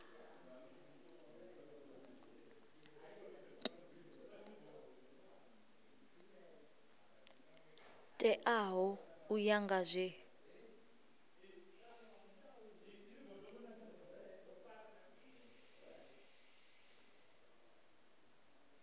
teaho u ya nga zwe